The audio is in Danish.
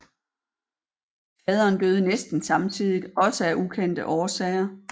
Faderen døde næsten samtidigt også af ukendte årsager